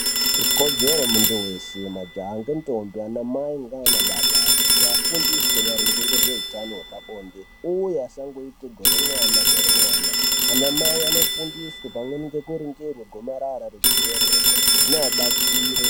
Ikodzero yemuntu weshe majaha nendombi kuti ana mai nana baba kuti vafundiswe maringe nezveutano hwepabonde uye vasaite gore mwana gore mwana ana mai vanofundiswe kuti vanoningirwa gomarara rechibereko zvinova batsire.